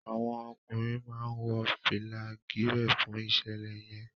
àwọn ọkùnrin má wọ fìlà Gírèè fún iṣẹlẹ yen